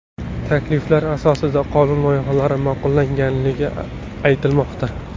Takliflar asosida qonun loyihalari ma’qullangani aytilmoqda.